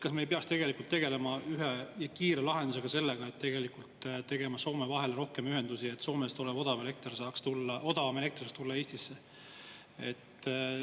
Kas me ei peaks tegelikult tegelema ühe kiire lahendusega, tegema Soome vahele rohkem ühendusi, et Soomest saaks odavam elekter Eestisse tulla?